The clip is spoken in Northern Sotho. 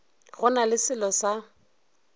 go na le selo sa